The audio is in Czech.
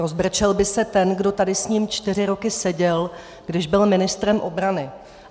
Rozbrečel by se ten, kdo tady s ním čtyři roky seděl, když byl ministrem obrany.